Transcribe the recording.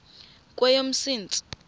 kweyomsintsi